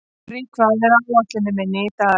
Gurrí, hvað er á áætluninni minni í dag?